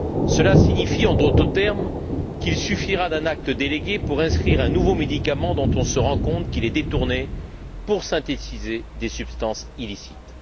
Cela signifie, en d'autres termes, qu'il suffira d'un acte délégué pour inscrire sur cette liste un nouveau médicament dont on se rend compte qu'il est détourné pour synthétiser des substances illicites.